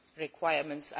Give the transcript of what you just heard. requirements.